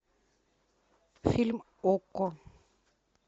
фильм окко